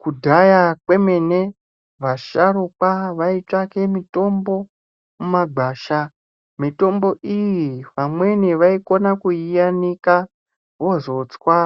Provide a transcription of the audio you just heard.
Kudhaya kwemene, vasharukwa vaitsvake mitombo mumagwasha. Mitombo iyi vamweni vaikona kuiyanika, vozotswa,